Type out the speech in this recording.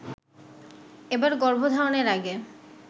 এবার গর্ভধারণের আগে